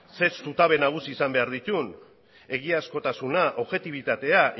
zein zutabe nagusi izan behar dituen egiazkotasuna objetibitatea